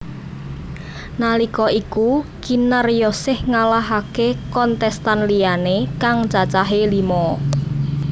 Nalika iku Kinaryosih ngalahaké kontestan liyané kang cacahé lima